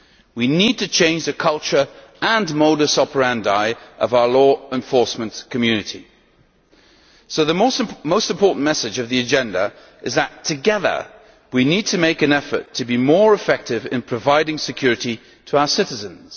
We need to change the culture and modus operandi of our law enforcement community. So the most important message of the agenda is that, together, we need to make an effort to be more effective in providing security to our citizens.